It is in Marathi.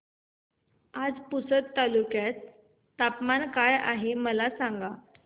आज पुसद तालुक्यात तापमान काय आहे मला सांगा